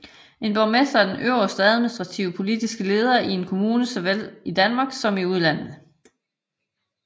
En borgmester er den øverste administrative og politiske leder i en kommune såvel i Danmark som i udlandet